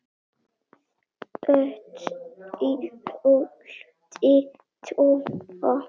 þaut í holti tóa